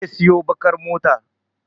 Zai siyo baƙar mota.